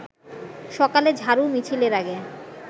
সকালে ঝাড়ু মিছিলের আগে